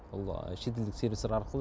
ол шетелдік сервистар арқылы